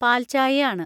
പാൽച്ചായയാണ്.